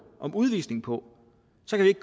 om udvisning på